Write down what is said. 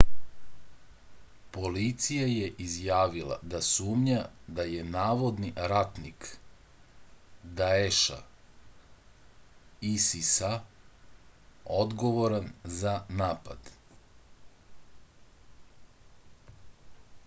полиција је изјавила да сумња да је наводни ратник даеша isis-а одговоран за напад